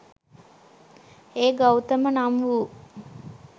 ඒ ගෞතම නම් වූ